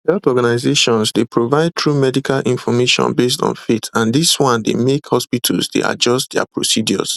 health organizations dey provide true medical information based on faith and dis one dey make hospitals dey adjust dia procedures